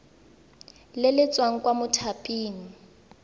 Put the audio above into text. le le tswang kwa mothaping